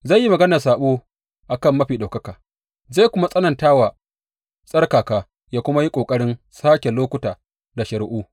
Zai yi maganar saɓo a kan Mafi Ɗaukaka, zai kuma tsananta wa tsarkaka yă kuma yi ƙoƙarin sāke lokuta da shari’u.